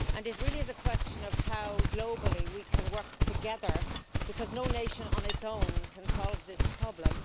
It really is a question of how globally we can work together, because no nation on its own can solve this problem.